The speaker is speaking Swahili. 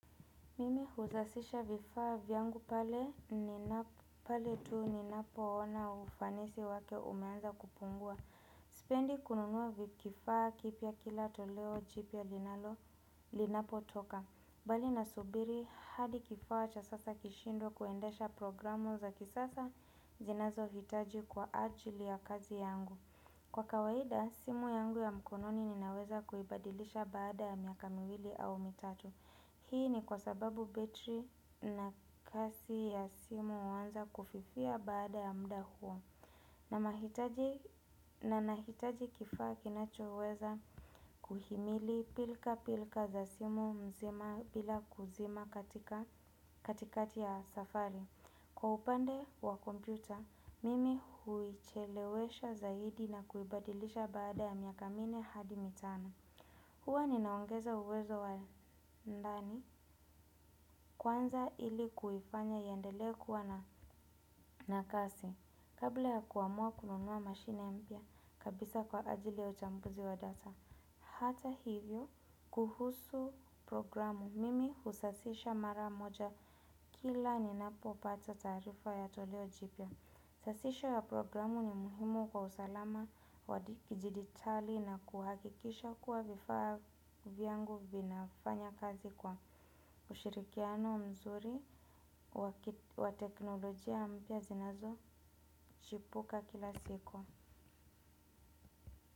Mimi huzasisha vifaa vyangu pale pale tu ninapo ona ufanisi wake umeanza kupungua sipendi kununua kifaa kipya kila toleo jipya linapo toka bali nasubiri hadi kifaa cha sasa kishindwe kuendesha programu za kisasa zinazohitaji kwa ajili ya kazi yangu kwa kawaida, simu yangu ya mkononi ninaweza kuibadilisha baada ya miaka miwili au mitatu hii ni kwa sababu betri na kazi ya simu huanza kufifia baada ya muda huo na nahitaji kifaa kinachoweza kuhimili pilka pilka za simu mzima bila kuzima katikati ya safari kwa upande wa kompyuta, mimi huichelewesha zaidi na kuibadilisha baada ya miaka minne hadi mitano huwa ninaongeza uwezo wa ndani kwanza ili kuifanya iendelee kuwa na na kasi kabla ya kuamua kununua mashine mpya kabisa kwa ajili ya uchambuzi wa hata hivyo kuhusu programu mimi husasisha mara moja kila ninapopata taarifa ya toleo jipya. Sasisho ya programu ni muhimu kwa usalama wa kidijitali na kuhakikisha kuwa vifaa vyangu vinafanya kazi kwa ushirikiano mzuri wa teknolojia mpya zinazojipuka kila siku.